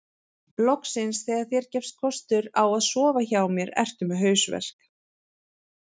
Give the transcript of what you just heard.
Loksins þegar þér gefst kostur á að sofa hjá mér ertu með hausverk